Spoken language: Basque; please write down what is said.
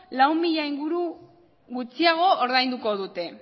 lau mila inguru gutxiago ordainduko dute